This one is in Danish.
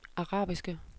arabiske